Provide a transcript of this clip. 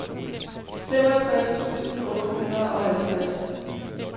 femogtres tusind otte hundrede og halvtreds